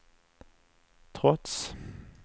trots